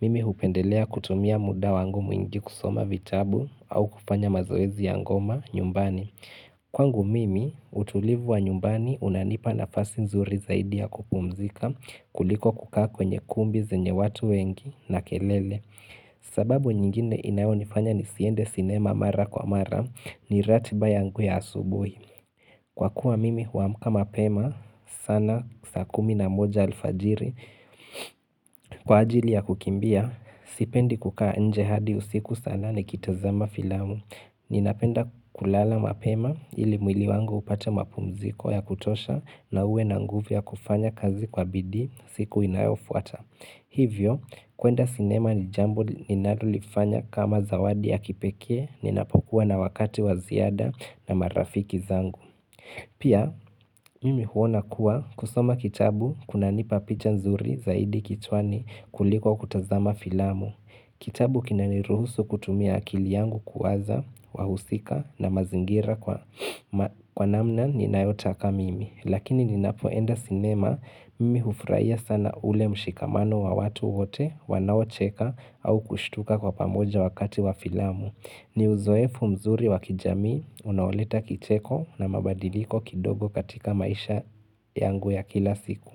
mimi hupendelea kutumia muda wangu mwingi kusoma vitabu au kupanya mazoezi ya ngoma nyumbani. Kwa ngu mimi utulivu wa nyumbani unanipa na fasi nzuri zaidi ya kupumzika kuliko kukaa kwenye kumbi zenye watu wengi na kelele sababu nyingine inaonifanya nisiende sinema mara kwa mara ni ratiba ya nguya asubuhi Kwa kuwa mimi huamka mapema sana saa kumi na moja alfajiri Kwa ajili ya kukimbia sipendi kukaa nje hadi usiku sana nikitazama filamu Ninapenda kulala mapema ili mwili wangu upata mapumziko ya kutosha na uwe na nguvu kufanya kazi kwa bidii siku inayofuata. Hivyo, kuenda sinema ni jambo ninadulifanya kama zawadi ya kipekee ninapokuwa na wakati waziada na marafiki zangu. Pia, mimi huona kuwa kusoma kitabu kuna nipa picha nzuri zaidi kichwani kuliko kutazama filamu. Kitabu kina niruhusu kutumia akili yangu kuwaza, wahusika na mazingira kwa namna ni nayotaka mimi. Lakini ni napo enda sinema, mimi hufurahia sana ule mshikamano wa watu wote, wanao cheka au kushituka kwa pamoja wakati wa filamu. Ni uzoefu mzuri wa kijamii, unaoleta kicheko na mabadiliko kidogo katika maisha yangu ya kila siku.